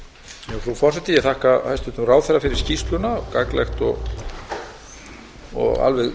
frú forseti ég þakka hæstvirtum ráðherra fyrir skýrsluna gagnlegt og alveg